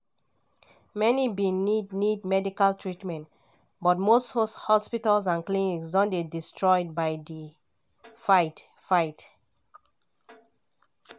many bin need need medical treatment but most hospitals and clinics don dey destroyed by di fight-fight.